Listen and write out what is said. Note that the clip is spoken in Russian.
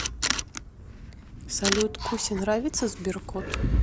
салют кусе нравится сберкот